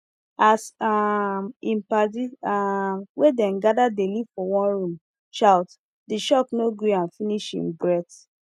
as um him padi um wey dem gather dey live for one room shout the shock no gree am finish him breathe